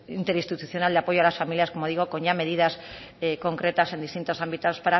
interinstitucional de apoyo a las familias como digo con ya medidas concretas en distintos ámbitos